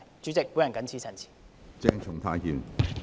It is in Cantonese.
主席，我謹此陳辭。